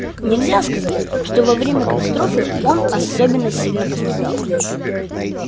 нельзя сказать что во время катастрофы он особенно сильно пострадал